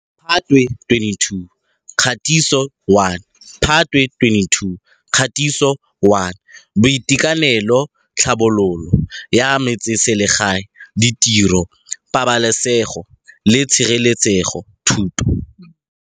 Phatwe 2022 Kgatiso 1 Phatwe 2022 Kgatiso 1 Boitekanelo Tlhabololo ya Metseselegae Ditiro Pabalasego le Tshireletsego Thuto.